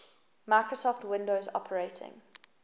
microsoft windows operating